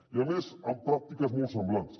i a més amb pràctiques molt semblants